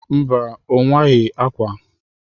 Mba, owaghi ákwà.